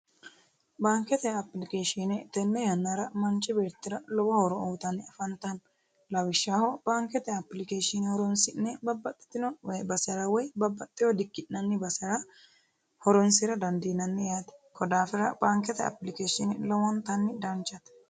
baankete appilikeeshine tenne yannara manchi beettira lowo horo uyiitanni afantanno lawishshaho baankete appilikeeshine horonsi'ne babbaxino basere woy babbaxewo dikki'nanni horonsi'ra dandiinanni yaate, daafira baankete appilikeeshiine lowo geeshsha danchate